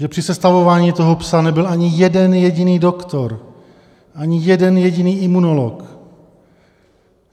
Že při sestavování toho "psa" nebyl ani jeden jediný doktor, ani jeden jediný imunolog.